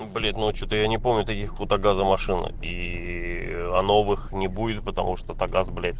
ну блять ну а что-то я не помню таких у тагаза машины и а новых не будет потому что-то тагаз блять